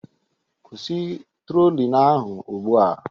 Kwụsị trolling ahụ ugbu a